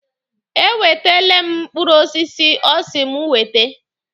E wetele m mkpụrụ osisi ọ sị mụ wete.